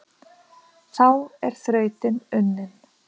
þá er þrautin unnin